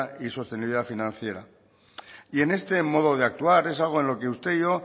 y sostenibilidad financiera y en este modo de actuar es algo en lo que usted y yo